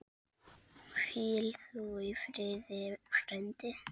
Hvíl þú í friði frændi.